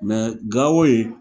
Gao ye